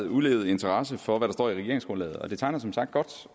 udelte interesse for hvad der står i regeringsgrundlaget og det tegner som sagt godt